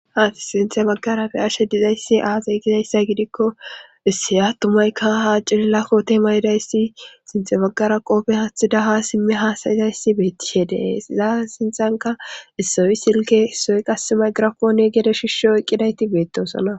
a sinthe baggarafe ashe dizayssi aazay gizayssa gidikko isseya tumayka ha cililla kote mayidayssi sinthe baggara qoofe hathidaha simmi hasayizayssi beettishedees iza sinxanka issowi silke hissoy qasemay girakone gede shisho eqqidayti beettosona